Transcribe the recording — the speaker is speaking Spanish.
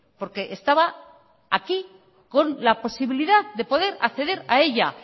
porque estaba aquí con la posibilidad de poder acceder a ella